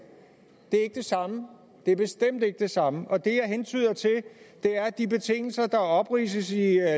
det er ikke det samme det er bestemt ikke det samme og det jeg hentyder til er de betingelser der opridses i